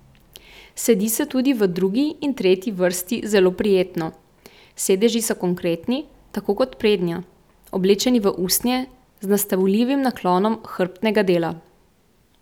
Sedi se tudi v drugi in tretji vrsti zelo prijetno, sedeži so konkretni, tako kot prednja, oblečeni v usnje, z nastavljivim naklonom hrbtnega dela.